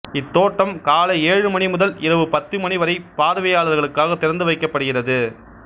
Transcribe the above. இத்தோட்டம் காலை ஏழு மணி முதல் இரவு பத்து மணி வரை பார்வையாளர்களுக்காக திறந்து வைக்கப்படுகிறது